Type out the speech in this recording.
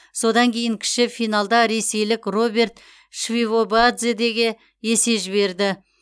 содан кейін кіші финалда ресейлік роберт мшвидобадзеге есе жіберді